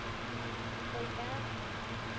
ஆஹ் போயிட்டேன்